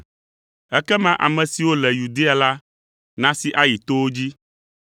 ekema ame siwo le Yudea la nasi ayi towo dzi.